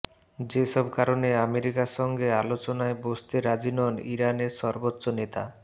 যেসব কারণে আমেরিকার সঙ্গে আলোচনায় বসতে রাজি নন ইরানের সর্বোচ্চ নেতা